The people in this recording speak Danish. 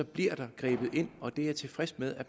bliver der grebet ind og det er jeg tilfreds med